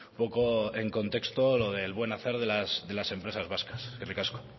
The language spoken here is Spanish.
poco en contexto lo del buen hacer de las empresas vascas eskerrik asko